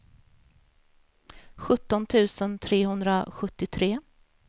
sjutton tusen trehundrasjuttiotre